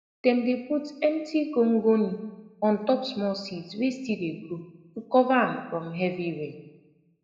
dem dey put empti gongoni ontop small seeds wey still dey grow to cova am fron heavy rain